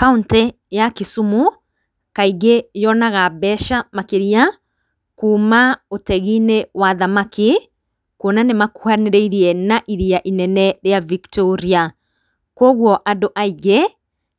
Kaũntĩ ya Kisumu kaingĩ yonaga mbeca makĩria kuuma ũteginĩ wa thamaki kũona nĩmakuhanĩrĩirie iria inene rĩa Victoria, kwa ũgo andũ aingĩ